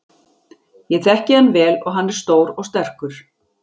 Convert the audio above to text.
Ég þekki hann vel og hann er stór og sterkur.